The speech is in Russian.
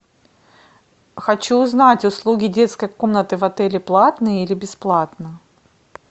хочу узнать услуги детской комнаты в отеле платные или бесплатные